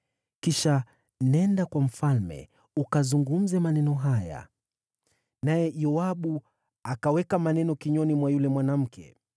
Kisha nenda kwa mfalme ukazungumze maneno haya.” Naye Yoabu akaweka maneno kinywani mwa yule mwanamke.